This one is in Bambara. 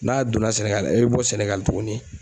N'a donna Sénégal i bɛ bɔ Sénégal tuguni